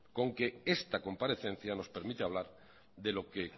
con que esta comparecencia nos permite hablar de lo que